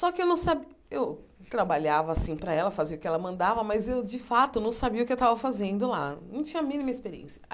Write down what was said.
Só que eu não sabia, eu trabalhava assim para ela, fazia o que ela mandava, mas eu de fato não sabia o que eu tava fazendo lá, não tinha a mínima experiência.